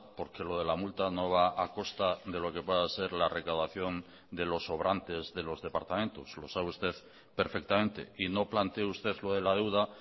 porque lo de la multa no va a costa de lo que pueda ser la recaudación de los sobrantes de los departamentos lo sabe usted perfectamente y no plantee usted lo de la deuda